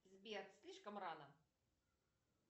сбер слишком рано